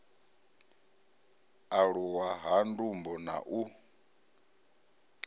aluwa ha ndumbo na u